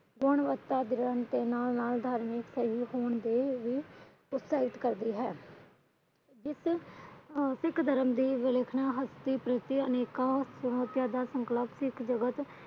ਇਸ ਸਿੱਖ ਧਰਮ ਦੀ ਵੇਲੇਖਣਾ ਅਨੇਕਾਂ ਚੁਣੌਤੀਆਂ ਦਾ ਸਿੱਖ ਜਗਤ